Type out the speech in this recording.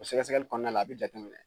O sɛkɛsɛkɛɛli kɔnɔna la a be jateminɛ.